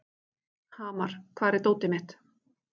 Hamar, hvar er dótið mitt?